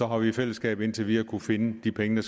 har vi i fællesskab indtil videre kunne finde de penge